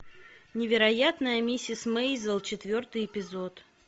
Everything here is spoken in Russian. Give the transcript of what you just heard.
невероятная миссис мейзел четвертый эпизод